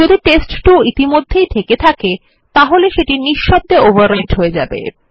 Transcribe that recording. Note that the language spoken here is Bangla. যদি টেস্ট2 ইতিমধ্যেই থেকে থাকে তাহলে নিশব্দভাবে ওভাররাইট হয়ে যায়